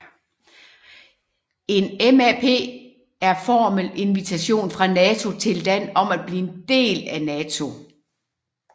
En MAP er formel invitation fra NATO til et land om at blive en del af NATO